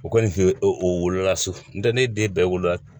O kɔni o wolola su ntɛ ne den bɛɛ wolo